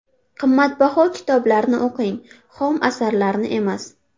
Qimmatbaho kitoblarni o‘qing, xom asarlarni emas.